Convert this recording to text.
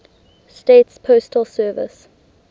states postal service